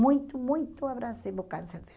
Muito, muito abrasivo o câncer dela.